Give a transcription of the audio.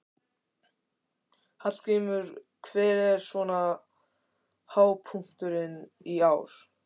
Hallgrímur, hver er svona hápunkturinn í ár?